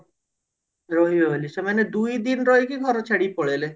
ରହିହବନି ସେମାନେ ଦୁଇଦିନ ରହିକି ଘର ଛାଡିକି ପଳେଇଲେ